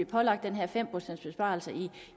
pålagt den her fem procents besparelse